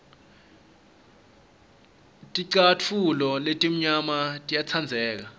ticatfulo letimnyama tiyatsandleka